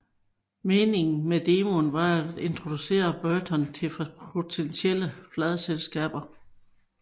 Meningen med demoen var at introducere Burton til potentielle pladeselskaber